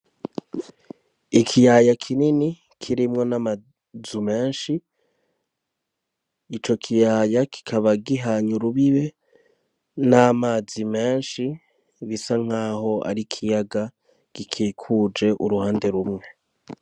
Ikiyaya kinini kirimwo n'amazu menshi ico kiyaya kikaba gihanyu rubibe n'amazi menshi bisa nk'aho ari ikiyaga gikikuje uruhande rumwe.